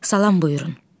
Salam buyurun.